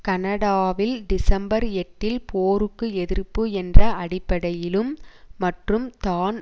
கனடாவில் டிசம்பர் எட்டில் போருக்கு எதிர்ப்பு என்ற அடிப்படையிலும் மற்றும் தான்